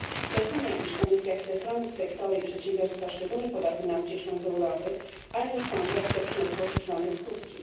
Doceniam, iż Komisja chce chronić sektory i przedsiębiorstwa szczególnie podatne na ucieczkę z Europy, ale nie sądzę, aby przyniosło to oczekiwane skutki.